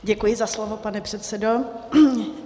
Děkuji za slovo, pane předsedo.